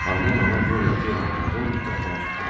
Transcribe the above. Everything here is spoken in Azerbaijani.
Hannanana Qoryo ata ilə qadın otaqdan çıxdılar.